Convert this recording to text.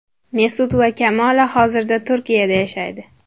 Mesut va Kamola hozirda Turkiyada yashaydi.